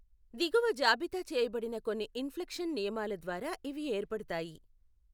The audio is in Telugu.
దిగువ జాబితా చేయబడిన కొన్ని ఇన్ఫ్లెక్షన్ నియమాల ద్వారా ఇవి ఏర్పడతాయి.